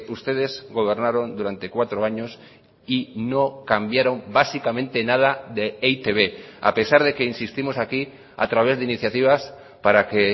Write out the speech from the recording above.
ustedes gobernaron durante cuatro años y no cambiaron básicamente nada de e i te be a pesar de que insistimos aquí a través de iniciativas para que